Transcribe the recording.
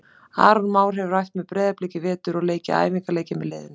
Aron Már hefur æft með Breiðablik í vetur og leikið æfingaleiki með liðinu.